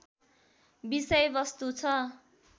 विषय वस्तु छ